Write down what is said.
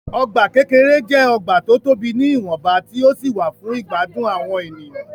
Ọgbà kékeré jẹ́ ọgbà tó tobì ní ìwọ̀nba tí ó sì wà fún ìgbádùn àwọn èèyan.